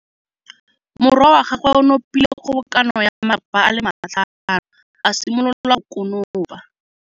Morwa wa gagwe o nopile kgobokanô ya matlapa a le tlhano, a simolola go konopa.